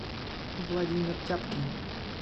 владимир тяпкин